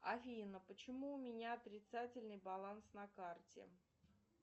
афина почему у меня отрицательный баланс на карте